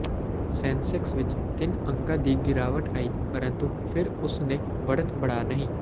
ਸੈਂਸੈਕਸ ਵਿਚ ਤਿੰਨ ਅੰਕਾਂ ਦੀ ਗਿਰਾਵਟ ਆਈ ਪ੍ਰੰਤੂ ਫਿਰ ਉਸ ਨੇ ਵੜਤ ਬਣਾ ਨਹੀ